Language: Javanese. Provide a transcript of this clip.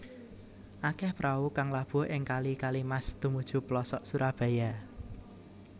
Akéh prau kang labuh ing kali Kalimas tumuju plosok Surabaya